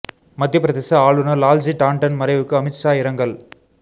மத்தியப் பிரதேச ஆளுநர் லால்ஜி டாண்டன் மறைவுக்கு அமித் ஷா இரங்கல்